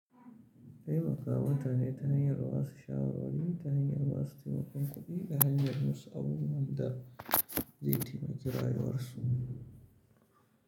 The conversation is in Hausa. Taimakawa mutane ta hanyar ba su shawarwari, ta hanyar ba su taimakon kuɗi da hanyar musu abubuwan da zai taimaka rayuwarsu.